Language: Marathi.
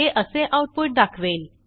हे असे आऊटपुट दाखवेल